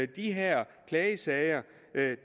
de her klagesager